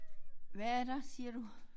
Hvad er der siger du?